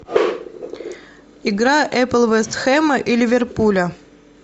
игра апл вест хэма и ливерпуля